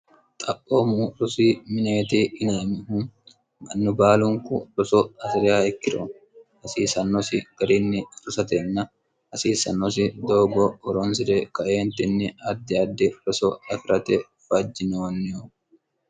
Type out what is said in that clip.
xaphoommu rosi mineeti inamihu mannu baalunku roso asi'riya ikkiro hasiisannosi garinni rosatenna hasiisannosi doogo oronsire kaeentinni addi addi roso akirate fajjinoonnihu